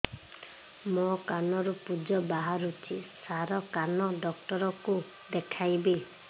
ମୋ କାନରୁ ପୁଜ ବାହାରୁଛି ସାର କାନ ଡକ୍ଟର କୁ ଦେଖାଇବି